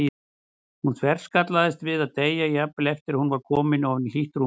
Hún þverskallaðist við að deyja, jafnvel eftir að hún var komin ofan í hlýtt rúmið.